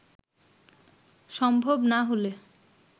সম্ভব না হলে